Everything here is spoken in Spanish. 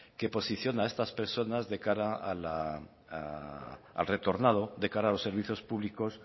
que posiciona a estas personas de cara al retornado de cara a los servicios públicos